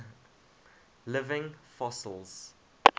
living fossils